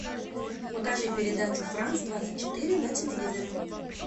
покажи передачу франс двадцать четыре на телевизоре